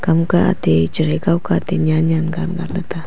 kam ka atey chere kau kah nyan nyan gan gan le ta.